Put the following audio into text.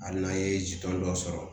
Hali n'an ye ji dɔɔni sɔrɔ